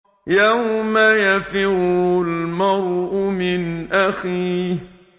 يَوْمَ يَفِرُّ الْمَرْءُ مِنْ أَخِيهِ